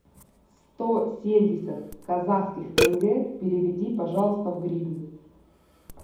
сто семьдесят казахских тенге переведи пожалуйста в гривны